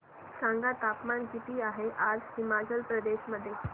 सांगा तापमान किती आहे आज हिमाचल प्रदेश मध्ये